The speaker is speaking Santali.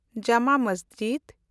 ᱡᱟᱢᱟ ᱢᱟᱥᱡᱤᱰ